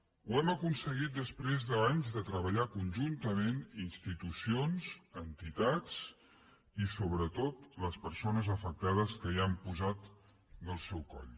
ho hem aconseguit després d’anys de treballar conjuntament institucions entitats i sobretot les persones afectades que hi han posat del se coll